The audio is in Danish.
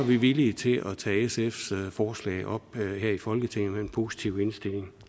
vi villige til at tage sfs forslag op her i folketinget med en positiv indstilling